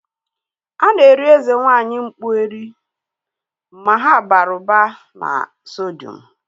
A na-eri eze nwaanyị mkpu eri (Aku) ma ha bara ụba na sodium